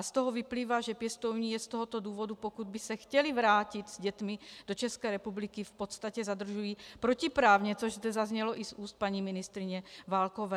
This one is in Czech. A z toho vyplývá, že pěstouni je z tohoto důvodu, pokud by se chtěli vrátit s dětmi do České republiky, v podstatě zadržují protiprávně, což zde zaznělo i z úst paní ministryně Válkové.